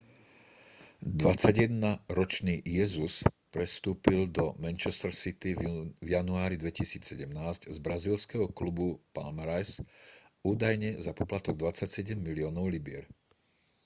21-ročný jesus prestúpil do manchester city v januári 2017 z brazílskeho klubu palmeiras údajne za poplatok 27 miliónov libier